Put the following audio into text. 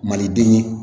Maliden ye